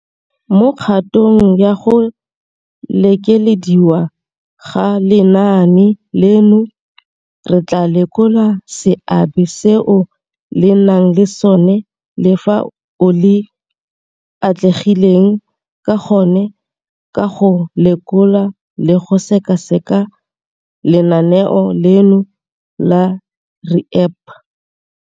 Mo kgatong ya go lekelediwa ga lenaane leno, re tla lekola seabe seo le nang le sona le fao le atlegileng ka gone ka go lekola le go sekaseka lenaane leno la REAP.